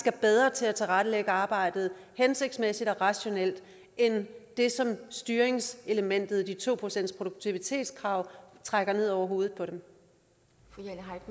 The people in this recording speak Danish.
er bedre til at tilrettelægge arbejdet hensigtsmæssigt og rationelt end det som styringsselementet i to procentsproduktivitetskravet trækker ned over hovedet